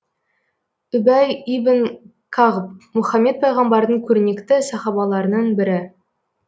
үбәй ибн кағб мұхаммед пайғамбардың көрнекті сахабаларының бірі